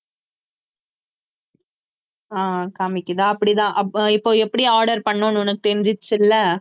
ஆஹ் காமிக்குதா அப்படிதான் அப்போ இப்போ எப்படி order பண்ணணும்னு உனக்கு தெரிஞ்சிருச்சுல